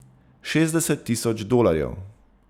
Šestdeset tisoč dolarjev!